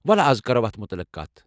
وَلہٕ از کَرو اتھ متعلِق کتھ۔